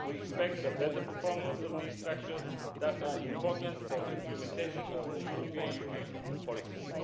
We expect a better performance of these structures, which are important for implementation of the European Union policies.